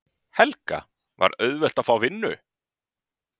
Helga: Var auðvelt að fá vinnu?